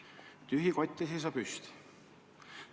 Tühi kott ei seisa püsti.